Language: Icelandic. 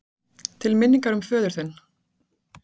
Til minningar um föður þinn.